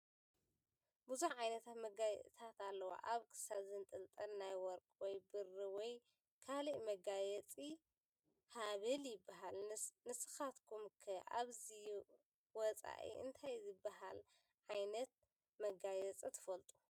ብዙሕ ዓይነት መጋየፅታት ኣለዉ፡፡ ኣብ ክሳድ ዝንጥልጠል ናይ ወርቂ ወይ ብሪ ወይ ካል መጋየፂ ሃብል ይበሃል፡፡ ንስኻትኩም ከ ካብዚ ወፃኢ እንታይ ዝበሃል ዓይነት መጋየፂ ትፈልጡ?